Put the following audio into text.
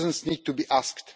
Citizens need to be asked.